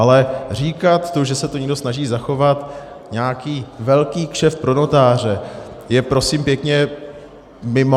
Ale říkat to, že se tu někdo snaží zachovat nějaký velký kšeft pro notáře, je prosím pěkně mimo.